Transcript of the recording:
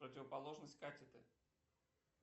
противоположность катеты